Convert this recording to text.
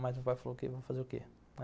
Mas o pai falou que ia fazer o quê?